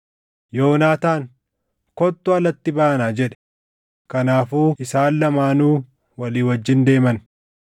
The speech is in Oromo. Yoonaataan, “Kottu alatti baanaa” jedhe. Kanaafuu isaan lamaanuu walii wajjin deeman.